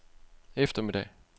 eftermiddag